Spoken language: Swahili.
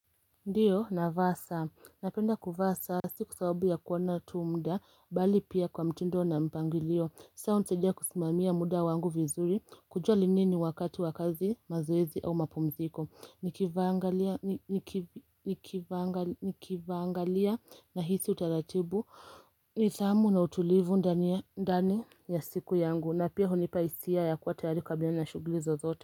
Ndiyo na vaa saa, napenda kuvasa siku sababu ya kuona tu mda, bali pia kwa mtindo na mpangilio saa unisadia kusimamia muda wangu vizuri, kujua linini wakatu wa kazi mazuwezi au mapumziko Nikivangalia na hisi utaratibu, nidhamu na utulivu ndani ya siku yangu na pia hunipaisia ya kuwa tayari kabla na shugulizo zote.